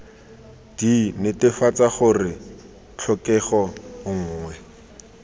d netefatsa gore tlhokego nngwe